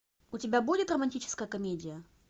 у тебя будет романтическая комедия